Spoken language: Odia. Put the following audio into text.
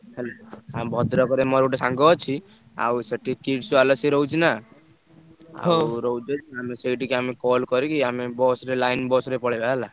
ହେଲା ଆମେ ଭଦ୍ରକରେ ମୋର ଗୋଟେ ସାଙ୍ଗ ଅଛି, ଆଉ ସେଠି Kids World ରେ ସିଏ ରହୁଛିନା, ରହୁଛି ଆମେ ସେଇଠିକି ଆମେ call କରିକି ଆମେ bus ରେ line bus ରେ ପଳେଇବା ହେଲା।